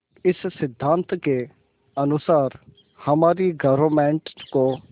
इस सिद्धांत के अनुसार हमारी गवर्नमेंट को